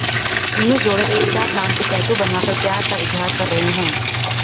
प्रेमी जोड़े एक साथ नाम के टैटू बनवाकर प्यार का इजहार कर रहे हैं